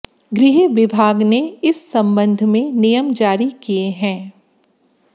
गृह विभाग ने इस संबंध में नियम जारी किए हैं